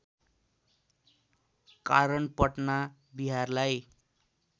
कारण पटना बिहारलाई